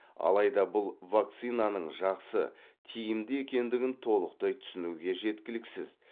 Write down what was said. алайда бұл вакцинаның жақсы тиімді екендігін толықтай түсінуге жеткіліксіз